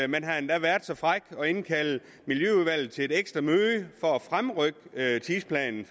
man har endda været så fræk at indkalde miljøudvalget til et ekstra møde for at fremrykke tidsplanen